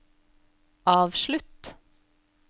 avslutt